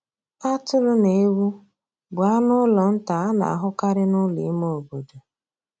Atụrụ na ewu bụ anụ ụlọ nta a na-ahụkarị n'ụlọ ime obodo.